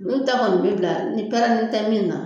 N'u ta kɔni bi bila ni pɛrɛnni tɛ min na